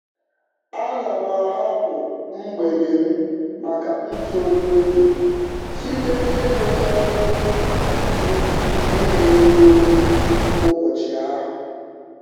Ana m ahapụ mgbede m maka ntụrụndụ site n'ịrụcha ọrụ m niile n'oge ụbọchị ahụ.